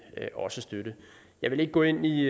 også støtte jeg vil ikke gå ind i